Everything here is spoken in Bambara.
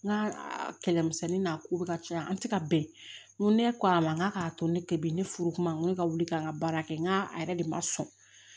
N ka kɛlɛmisɛnnin n'a ko bɛ ka caya an ti ka bɛn n ko ne ko a ma n k'a k'a to ne tɛ bi ne furu kuma ne ka wuli ka n ka baara kɛ n k'a a yɛrɛ de ma sɔn